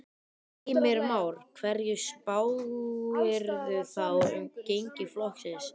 Heimir Már: Hverju spáirðu þá um gengi flokksins?